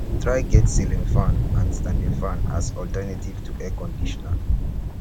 try get ceiling fan and standing fan as alternative to air conditioner